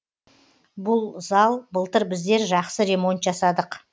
бұл зал былтыр біздер жақсы ремонт жасадық